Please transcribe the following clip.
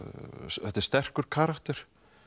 þetta er sterkur karakter